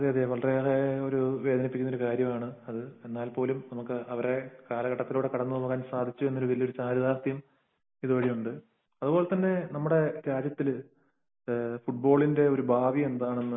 അതെയതെ വളരെയേറെ വേദനിപ്പിക്കുന്ന ഒരു കാര്യമാണ് അത് . എന്നാൽ പോലും അവരുടെ കാലഘട്ടത്തിലൂടെ നമുക്ക് കടന്നുപോകാൻ സാധിച്ചു എന്നത് വളരെ ചാരിതാർഥ്യം വഴിയുണ്ട് കൂടിയുണ്ട് . രാജ്യത്തു ഫുട്ബോളിങ് ഭാവി എന്താണെന്നു